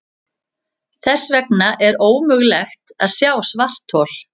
Þess vegna er ómögulegt að sjá svarthol.